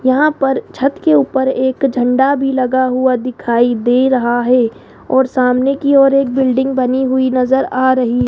यहां पर छत के ऊपर एक झंडा भी लगा हुआ दिखाई दे रहा है और सामने की ओर एक बिल्डिंग बनी हुई नजर आ रही --